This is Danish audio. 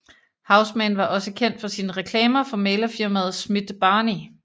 Houseman var også kendt for sine reklamer for mæglerfirmaet Smith Barney